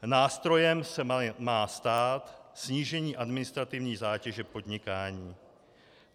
Nástrojem se má stát snížení administrativní zátěže podnikání.